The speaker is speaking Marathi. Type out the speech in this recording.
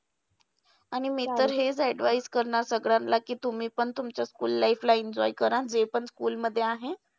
आणि मी तर हेच advice करणार सगळ्यांना. कि तुम्ही पण तुमच्या school life ला enjoy करा. जे पण school मध्ये आहे.